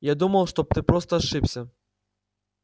я думал что бы ты просто ошибся